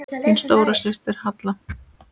Þín stóra systir, Halla.